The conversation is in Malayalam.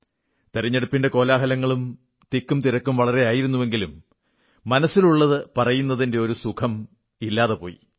തിരഞ്ഞെടുപ്പിന്റെ കോലാഹലങ്ങളും തിരക്കും ഏറെയായിരുന്നെങ്കിലും മനസ്സിലുള്ളത് പറയുന്നതിന്റെ ആ ഒരു സുഖം ഇല്ലാതെപോയി